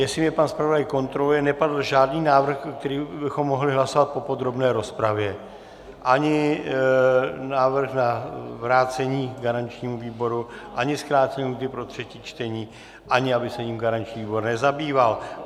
Jestli mě pan zpravodaj kontroluje, nepadl žádný návrh, který bychom mohli hlasovat po podrobné rozpravě, ani návrh na vrácení garančnímu výboru, ani zkrácení lhůty pro třetí čtení, ani aby se jím garanční výbor nezabýval.